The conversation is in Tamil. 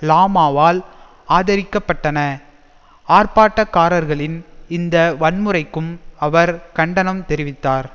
லாமாவால் ஆதரிக்கப்பட்டன ஆர்ப்பாட்டக்காரர்களின் இந்த வன்முறைக்கும் அவர் கண்டனம் தெரிவித்தார்